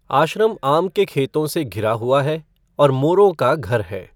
आश्रम आम के खेतों से घिरा हुआ है और मोरों का घर है।